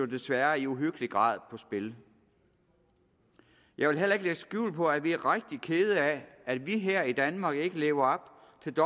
desværre i uhyggelig grad på spil jeg vil heller ikke lægge skjul på at vi er rigtig kede af at vi her i danmark ikke lever